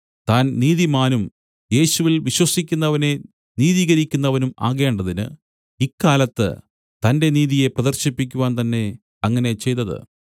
താൻ നീതിമാനും യേശുവിൽ വിശ്വസിക്കുന്നവനെ നീതീകരിക്കുന്നവനും ആകേണ്ടതിന് ഇക്കാലത്ത് തന്റെ നീതിയെ പ്രദർശിപ്പിക്കുവാൻതന്നെ അങ്ങനെ ചെയ്തത്